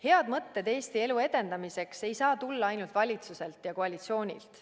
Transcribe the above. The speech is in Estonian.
Head mõtted Eesti elu edendamiseks ei saa tulla ainult valitsuselt ja koalitsioonilt.